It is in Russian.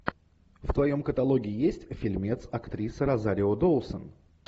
в твоем каталоге есть фильмец актриса розарио доусон